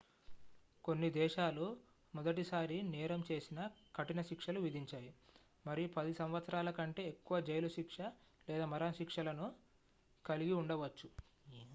కొన్ని దేశాలు మొదటిసారి నేరం చేసినా కఠినశిక్షలు విధించాయి మరియు 10 సంవత్సరాల కంటే ఎక్కువ జైలు శిక్ష లేదా మరణశిక్ష లను కలిగి ఉండవచ్చు